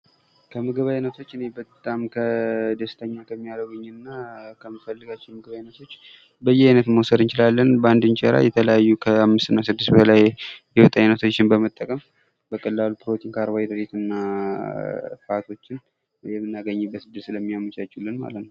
ከምግብ አይነቶች እኔም በጣም ከደስተኛ ከሚያረጉኝና ከመፈለጋቸው የምግብ ዓይነቶች በእያይነትን መውሰድ እንችላለን:: በአንድ እንጀራ የተለያዩ ከአምስት እና ከስድስት በላይ የወጥ ዓይነቶችን በመጠቀም በቀላሉ ፕሮቲን ካርቦ ሃይድሬትና እጽዋቶችን የምናገኝበትን ዕድል ስለሚያመቻቹልን ማለት ነው ::